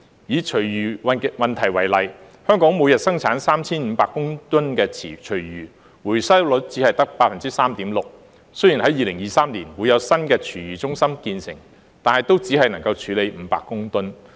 以廚餘問題為例，香港每天產生 3,500 公噸的廚餘，回收率只得 3.6%， 雖然2023年會有新的廚餘中心建成，但都只能處理500公噸。